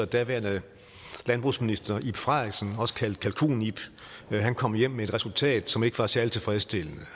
daværende landbrugsminister ib frederiksen også kaldet kalkun ib han kom hjem med et resultat som ikke var særlig tilfredsstillende